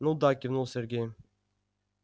ну да кивнул сергей